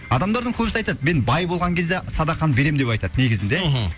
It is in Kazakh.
адамдардың көбісі айтады мен бай болған кезде садақаны беремін деп айтады негізінде мхм